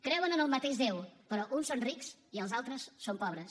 creuen en el mateix déu però uns són rics i els altres són pobres